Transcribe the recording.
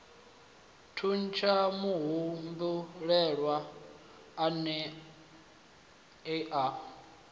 thuntsha muhumbulelwa a ne a